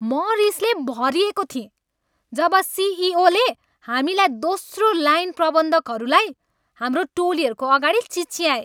म रिसले भरिएको थिएँ जब सिइओले हामीलाई, दोस्रो लाइन प्रबन्धकहरूलाई, हाम्रो टोलीहरूको अगाडि चिच्याए।